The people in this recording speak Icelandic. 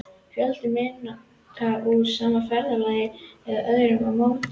Fjöldi mynda úr sama ferðalagi eða öðrum ámóta.